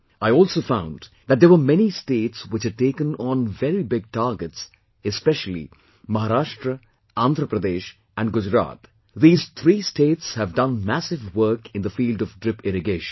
I also found that there were many states which had taken on very big targets, especially, Maharashtra, Andhra Pradesh and Gujarat these three states have done massive work in the field of drip irrigation